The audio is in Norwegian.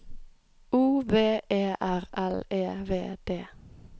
O V E R L E V D